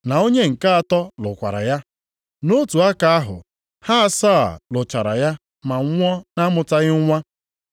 na onye nke atọ lụrụkwara ya. Nʼotu aka ahụ ha asaa lụchara ya ma nwụọ na-amụtaghị nwa.